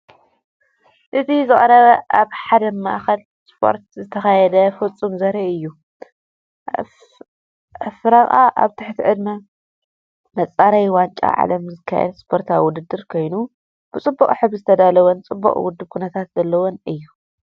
እቲ ዝቐረበ ኣብ ሓደ ማእከል ስፖርት ዝተኻየደ ፍጻመ ዘርኢ እዩ። ኣፍሪቃ ኣብ ትሕቲ ቅድመ መጻረዪ ዋንጫ ዓለም ዝካየድ ስፖርታዊ ውድድር ኮይኑ፡ ብፅቡቅ ሕብሪ ዝተዳለወን ጽቡቕ ውዱብ ኩነታት ዘለዎን እዩ።